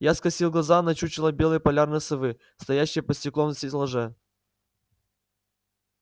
я скосил глаза на чучело белой полярной совы стоящее под стеклом в стеллаже